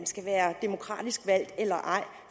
skal være demokratisk valgt eller ej